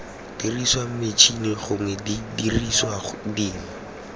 diriswang metšhini gongwe didiriswa dingwe